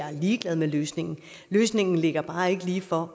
er ligeglad med løsningen løsningen ligger bare ikke lige for